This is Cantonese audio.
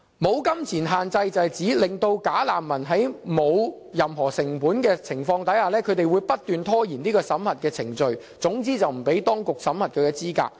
"無金錢限制"是指，"假難民"在沒有任何成本的情況下，不斷拖延審核程序，總之不讓當局審核其資格。